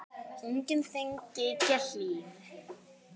Unginn þinn, Gígja Hlín.